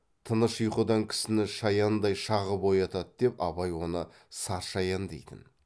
тыныш ұйқыдан кісіні шаяндай шағып оятады деп абай оны саршаян дейтін